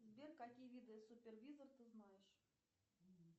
сбер какие виды супервизор ты знаешь